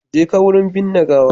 Jeka wurin binne gawa.